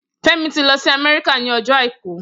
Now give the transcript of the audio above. Femi ti lọ si Amẹrika ni ọjọ áikù